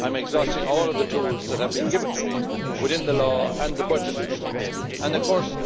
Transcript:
I am exhausting all of the tools that have been given to me within the law and the budget. I do not of course